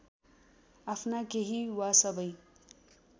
आफ्ना केही वा सबै